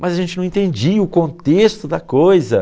Mas a gente não entendia o contexto da coisa.